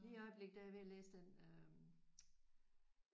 Lige i øjeblikket der er jeg ved at læse den